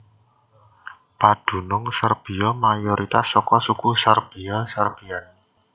Padunung Serbiya mayoritas saka suku Serbiya Serbiyan